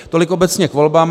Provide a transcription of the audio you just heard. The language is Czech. Tolik obecně k volbám.